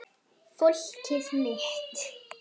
Fólkið mitt.